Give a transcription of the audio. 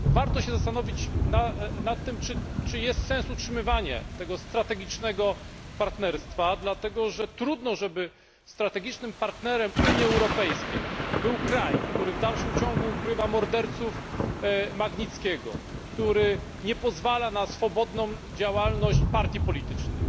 Warto się zastanowić nad tym, czy jest sens utrzymywania tego strategicznego partnerstwa, dlatego że trudno żeby strategicznym partnerem Unii Europejskiej był kraj, który w dalszym ciągu ukrywa morderców Magnickiego, który nie pozwala na swobodną działalność partii politycznych,